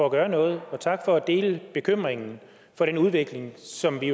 at gøre noget og tak for at dele bekymringen for den udvikling som vi